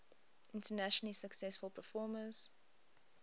internationally successful performers